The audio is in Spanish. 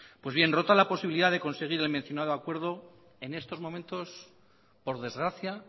pues bien rota la posibilidad de conseguir el mencionado acuerdo en estos momentos por desgracia